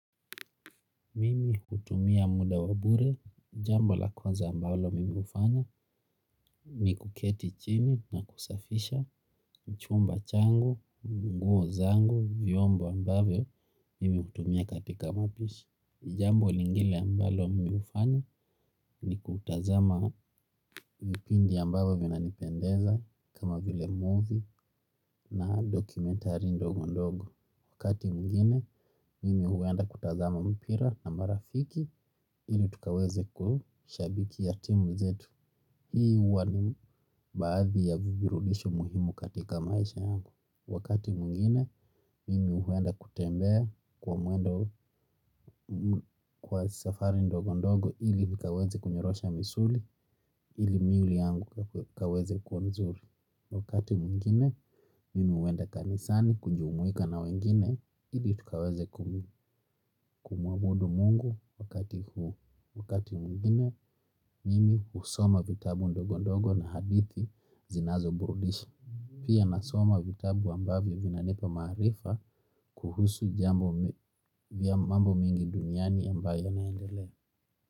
Mimi hutumia muda wa bure. Jambo la kwanza ambalo mimi hufanya ni kuketi chini na kusafisha chumba changu, nguo zangu, vyombo ambavyo mimi hutumia katika mapishi. Jambo lingile ambalo mimi hufanya ni kutazama vipindi ambavyo vinanipendeza kama vile movie na dokumentari ndogo ndogo. Wakati mwingine mimi huenda kutazama mpira na marafiki ili tukaweze kushabikia timu zetu. Hii huwa ni baadhi ya viburudisho muhimu katika maisha yangu. Wakati mwingine, mimi huenda kutembea kwa mwendo kwa safari ndogo ndogo ili nikaweze kunyorosha misuli ili mwili yangu ikaweze kwa nzuri. Wakati mwingine, mimi huenda kanisani kujumuika na wengine ili tukaweze kumuabudu mungu wakati huu. Wakati mwingine, mimi husoma vitabu ndogo ndogo na hadithi zinazoburudisha. Pia nasoma vitabu ambavyo vinanipa maarifa kuhusu mambo mingi duniani ambayo yanaendelea.